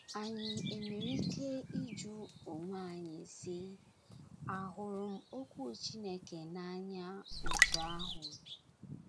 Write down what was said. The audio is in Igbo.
Anyị enwere ike ịjụ onwe anyị, sị: ‘ Àhụrụ m Okwu Chineke n’anya otú ahụ?